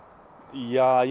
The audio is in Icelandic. ja